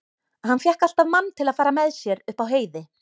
Hann fékk alltaf mann til að fara með sér upp á heiði.